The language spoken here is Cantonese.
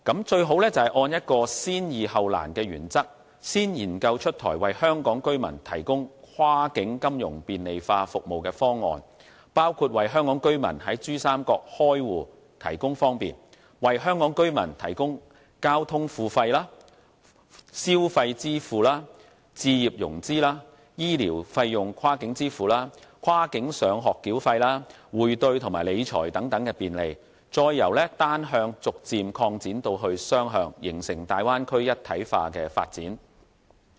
最好按先易後難的原則，先研究出台為香港居民提供跨境金融便利化服務的方案，包括為香港居民在珠三角開戶提供方便，為香港居民提供交通付費、消費支付、置業融資、醫療費用跨境支付、跨境上學繳費、匯兌及理財等便利，再由單向逐漸擴展至雙向，形成大灣區一體化的發展。